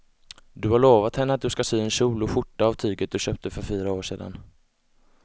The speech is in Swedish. Du har lovat henne att du ska sy en kjol och skjorta av tyget du köpte för fyra år sedan.